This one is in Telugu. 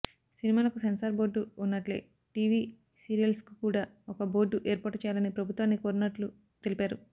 సినిమాలకు సెన్సార్ బోర్డు ఉన్నట్లే టీవీ సీరియల్స్కు కూడా ఒక బోర్డు ఏర్పాటు చేయాలని ప్రభుత్వాన్ని కోరనున్నట్లు తెలిపారు